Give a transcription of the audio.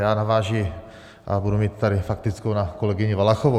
Já navážu a budu tady mít faktickou na kolegyni Valachovou.